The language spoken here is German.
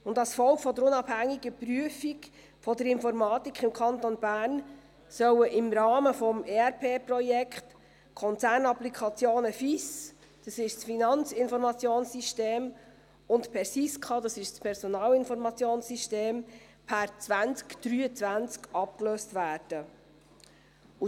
Und als Folge der unabhängigen Prüfung der Informatik im Kanton Bern sollen im Rahmen des ERP-Projekts die Konzernapplikationen FIS – das ist das Finanzinformationssystem – und PERSISKA – das ist das Personalinformationssystem – per 2023 abgelöst werden.